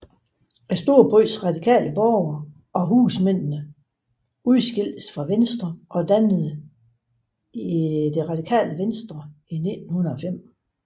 Storbyens radikale borgere og husmændene udskiltes fra Venstre og dannede Det Radikale Venstre i 1905